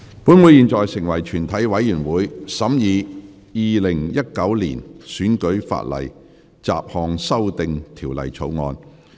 本會現在成為全體委員會，審議《2019年選舉法例條例草案》。